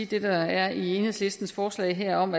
det der er i enhedslistens forslag her om